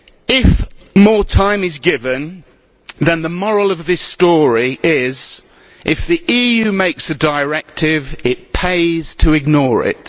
If more time is given, then the moral of this story is that, if the EU makes a directive, it pays to ignore it.